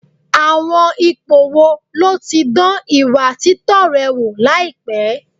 Àwọn ipò wo ló ti dán ìwà títọ́ rẹ wò láìpẹ́?